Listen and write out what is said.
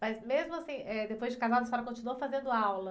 Mas mesmo assim, eh, depois de casada, você continuou fazendo aula?